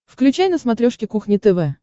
включай на смотрешке кухня тв